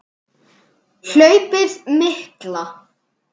Hlaupið mikla